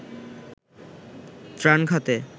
ত্রাণ খাতে